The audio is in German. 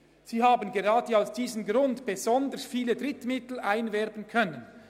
Sie hätten gerade aus diesem Grund besonders viele Drittmittel einwerben können.